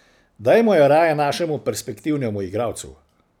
Dajmo jo raje našemu, perspektivnemu igralcu.